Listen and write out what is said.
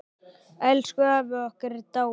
Elsku afi okkar er dáinn.